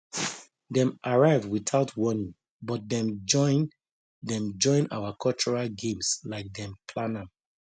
dem arrive without warning but dem join dem join our cultural games like dem plan am